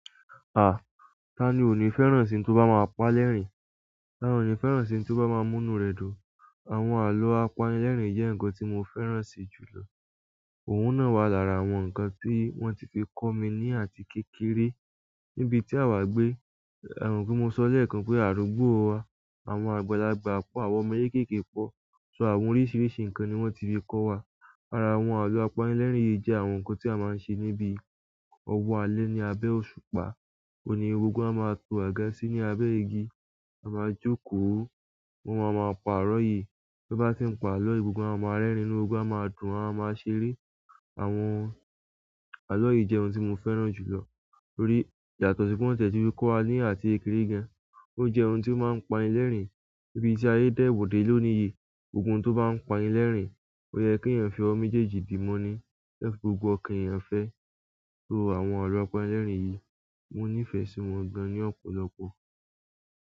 À, ta ni ò ní fẹ́ràn ohun tó bá máa ń pa ẹlẹ́rìn? Ta ni ò ní fẹ́ràn ohun tó bá máa ń mú inú rẹ dùn? Àwọn àlọ́ apanilẹ́rìn jẹ́ ǹkan tí mo fẹ́ràn si jùlọ. Òun náà wà lára àwọn ǹkan tí wọ́n ti fi kọ́ mi ní àti kékeré. Ni ibi tí àwa gbé, e mo pé mo sọ lẹ́ẹ̀kan pé àdúgbó wa, àwọn àgbàlagbà pọ̀, àwọn ọmọ kéékèèké pọ̀, so àwọn oríṣiríṣi ǹkan ni wọ́n ti fi kọ́ wa. Ara àwọn àlọ́ apanilẹ́rìn yìí jẹ́ àwọn ǹkan tí a máa ń ṣe níbi owo alẹ́ ní abẹ́ òṣùpá. Oun ni gbogbo wa ma to aga si abe igi a maa jókòó won maa maa pa alo yìí bí bá ti ń pa àlọ́ yìí gbogbo a máa rerin inú gbogbo wa maa dùn, a máa ṣeré. Àwọn àlọ́ yìí jẹ́ ohun tí mo fẹ́ràn jùlọ nítorí ìyàtọ̀ si pe wọ́n tiẹ̀ ti fi kọ́ wa ní àti kékeré gan. Ó jẹ́ ohun tí ó máa ń pani lẹlẹ́rìn. Níbi tí ayé dẹ́wò dé lónìí yìí, gbogbo ohun tó bá ń pani lẹlẹ́rìn, ó yẹ kí ẹ̀yin fi ọwọ méjèèjì di mọ́ ní. Ẹ fi gbogbo ọkan ẹ̀eyan fẹ́. So àwọn àlọ́ apanilẹ́rìn yìí, mo nífẹ̀ẹ́ sí wọn gan ní ọ̀pọ̀lọpọ̀.